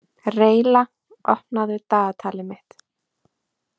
Reyla, opnaðu dagatalið mitt.